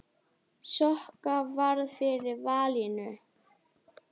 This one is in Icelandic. Sokka varð fyrir valinu.